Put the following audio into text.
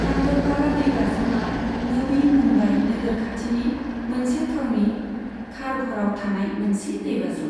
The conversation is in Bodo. पान्डवकाड़ा दैबाज्रुमा नवी मुम्बाइ नोगोर खाथिनि मोनसे थावनि खारघराव थानाय मोनसे दैबाज्रुम।